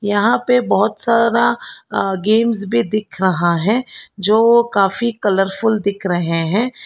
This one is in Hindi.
यहां पे बहुत सारा अह गेम्स भी दिख रहा है जो काफी कलरफुल दिख रहे हैं।